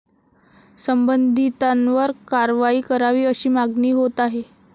संबंधितांवर कारवाई करावी, अशी मागणी होत आहे.